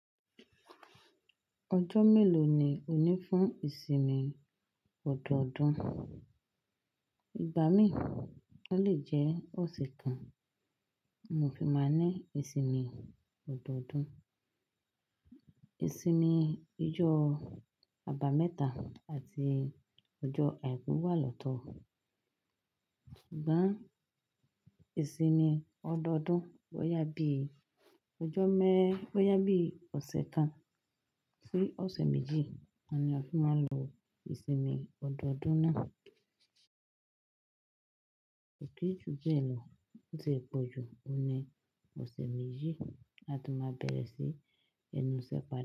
Ọjọ́ mélòó ni ò ní fún ìsinmi ọdọọdún? Ìgbà mín, ó lè jẹ́ ọ̀sẹ̀ kan mo fi máa ń ní ìsinmi ọdọọdún. Ìsinmi ijọ́ àbámẹ́ta àti ọjọ́ àìkú wà lọ́tọ̀. Sugbon ìsinmi ọdọọdún bó yá bí ọjọ́ mẹ́, bó yá bí ọ̀sẹ̀ kan sí ọ̀sẹ̀ méjì ni a fi máa ń lo ìsinmi ọdọọdún náà. Ko kin jù bẹ́ẹ̀ lọ, kó tie pọ̀ jù, òun ni ọ̀sẹ̀ méjì a de ma bẹ̀rẹ̀ sí ẹnu isẹ́ pàdà.